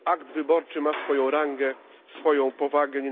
Akt wyborczy ma swoją rangę, swoją powagę.